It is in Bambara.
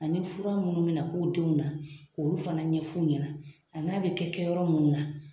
Ani fura munnu mi na k'u denw na , k'olu fana ɲɛfu ɲɛna a n'a be kɛ kɛ yɔrɔ munnu na.